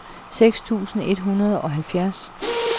seks tusind et hundrede og halvfjerds